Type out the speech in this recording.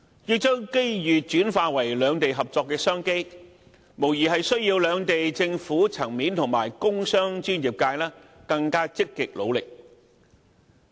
要將機遇轉化為兩地合作的商機，無疑需要兩地政府層面和工商專業界更積極努力。